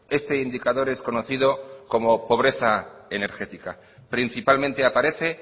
este indicador es conocido como pobreza energética principalmente aparece